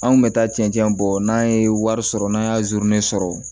An kun bɛ taa cɛncɛn bɔ n'an ye wari sɔrɔ n'an ye zurun sɔrɔ